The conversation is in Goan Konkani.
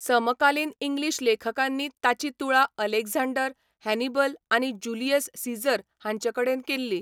समकालीन इंग्लीश लेखकांनी ताची तुळा अलेक्झांडर, हॅनिबल आनी ज्युलियस सीझर हांचेकडेन केल्ली.